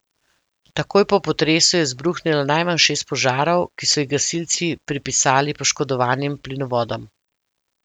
Takoj po potresu je izbruhnilo najmanj šest požarov, ki so jih gasilci pripisali poškodovanim plinovodom.